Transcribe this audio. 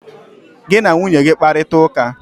Gị na nwunye gị kparita ụka!